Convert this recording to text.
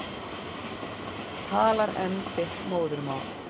Talar enn sitt móðurmál.